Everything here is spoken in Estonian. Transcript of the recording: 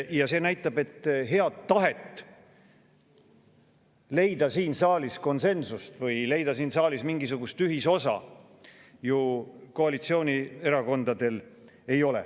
Ja see näitab, et head tahet, et leida siin saalis konsensus või leida siin saalis mingisugust ühisosa, koalitsioonierakondadel ju ei ole.